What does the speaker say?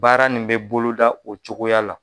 Baara nin bɛ boloda o cogoya la